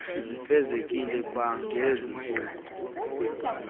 zifezekiswe kwangezi ntsuku